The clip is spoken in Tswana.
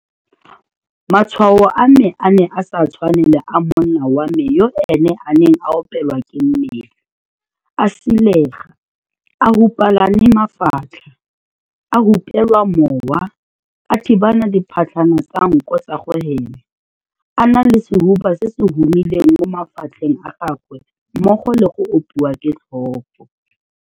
Matshwao a me a ne a sa tshwane le a monna wa me yo ene a neng a opelwa ke mmele, a silega, a hupelane mafatlha, a hupela mowa, a thibana diphatlhana tsa nko tsa go hema, a na le sehuba se se humileng mo mafatlheng a gagwe mmogo le go opiwa ke tlhogo.